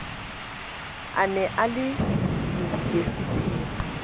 a ne a le unibesiting